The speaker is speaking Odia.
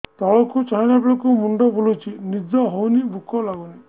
ତଳକୁ ଚାହିଁଲା ବେଳକୁ ମୁଣ୍ଡ ବୁଲୁଚି ନିଦ ହଉନି ଭୁକ ଲାଗୁନି